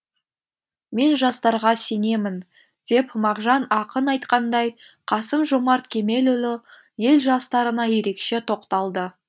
мен жастарға сенемін деп мағжан ақын айтқандай қасым жомарт кемелұлы ел жастарына ерекше тоқталды